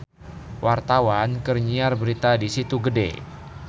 Wartawan keur nyiar berita di Situ Gede